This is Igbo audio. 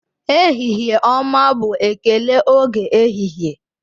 Ehihie ọma bụ ekele oge ehihie